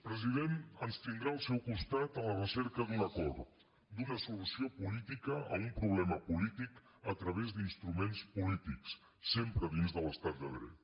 president ens tindrà al seu costat a la recerca d’un acord d’una solució política a un problema polític a través d’instruments polítics sempre dins de l’estat de dret